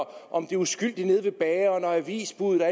om de uskyldige nede ved bageren og avisbude